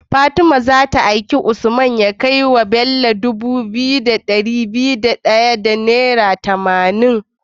Fatima zata aiki usman ya kai wa Bello Dubu biyu da dari daya da tamanin kullun turare